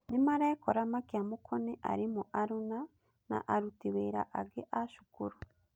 nĩmarekora makĩamũkwo nĩ arimũ aruna na aruti wĩra angĩ a cukuru.